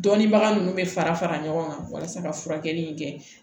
Dɔnnibaga ninnu bɛ fara fara ɲɔgɔn kan walasa ka furakɛli in kɛ